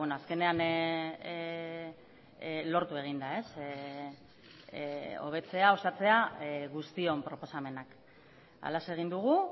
azkenean lortu egin da hobetzea osatzea guztion proposamenak halaxe egin dugu